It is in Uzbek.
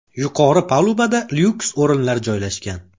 Yuqori palubada lyuks o‘rinlar joylashgan.